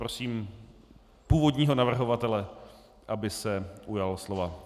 Prosím původního navrhovatele, aby se ujal slova.